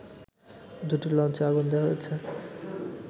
দুটি লঞ্চে আগুন দেয়া হয়েছে